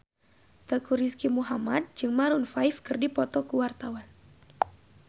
Teuku Rizky Muhammad jeung Maroon 5 keur dipoto ku wartawan